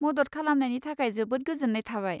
मदद खालामनायनि थाखाय जोबोद गोजोन्नाय थाबाय।